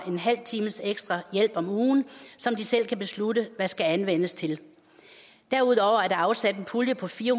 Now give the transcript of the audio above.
en halv times ekstra hjælp om ugen som de selv kan beslutte hvad skal anvendes til derudover er der afsat en pulje på fire